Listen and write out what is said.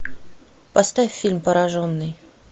поставь фильм пораженный